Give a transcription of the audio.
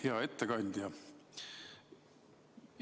Hea ettekandja!